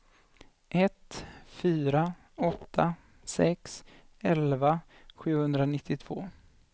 ett fyra åtta sex elva sjuhundranittiotvå